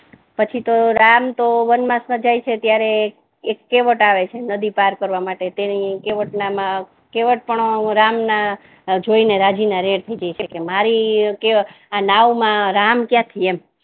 પછિ તો રામ તો વનવાસ મા જાય છે ત્યારે એક કેવટ આવે છે નદિ પાર કરવા માટે તે ની કેવટ મા ના કેવટ ને પણ રામ નેજોઈ ને રાજી ના રેડ થઈ જાય છે કે મારી નાવ મા રામ ક્યાથી એમ